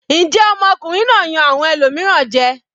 Njẹ́ ọmọkùnrin náà yan awọn ẹlòmíràn jẹ?